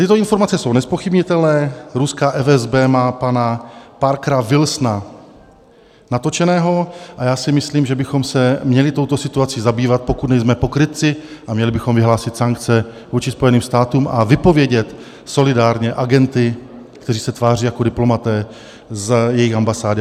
Tyto informace jsou nezpochybnitelné, ruská FSB má pana Parkera Wilsona natočeného, a já si myslím, že bychom se měli touto situací zabývat, pokud nejsme pokrytci, a měli bychom vyhlásit sankce vůči Spojeným státům a vypovědět solidárně agenty, kteří se tváří jako diplomaté, z jejich ambasády.